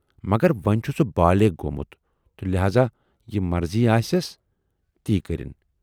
مگر وۅنۍ چھُ سُہ بالٮ۪غ گومُت تہٕ لہذا یہِ مرضی آسٮَ۪س، تی کٔرِن۔